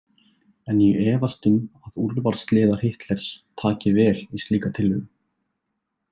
En ég efast um að úrvalsliðar Hitlers taki vel í slíka tillögu.